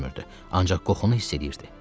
Ancaq qoxunu hiss edirdi.